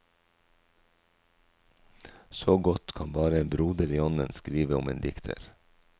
Så godt kan bare en broder i ånden skrive om en dikter.